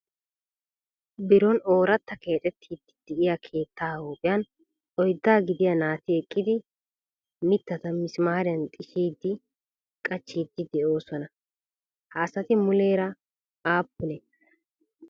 Biron oorata keexxetiidi de'iyaa keettaa huuphiyan oyddaa gidiyaa naati eqqidi mitta mittaata mismaariya xishshidi qachchidi de'ooslna. Ha asati muleera aappune?